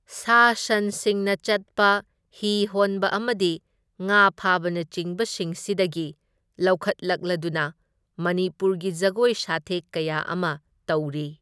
ꯁꯥ ꯁꯟꯁꯤꯡꯅ ꯆꯠꯄ, ꯍꯤ ꯍꯣꯟꯕ ꯑꯃꯗꯤ ꯉꯥ ꯐꯥꯕꯅꯆꯤꯡꯕꯁꯤꯡꯁꯤꯗꯒꯤ ꯂꯧꯈꯠꯂꯛꯂꯗꯨꯅ ꯃꯅꯤꯄꯨꯔꯒꯤ ꯖꯒꯣꯏ ꯁꯥꯊꯦꯛ ꯀꯌꯥ ꯑꯃ ꯇꯧꯔꯤ꯫